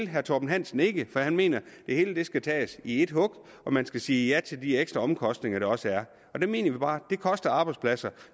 herre torben hansen ikke for han mener at det hele skal tages i et hug og man skal sige ja til de ekstra omkostninger der også er der mener vi bare at det koster arbejdspladser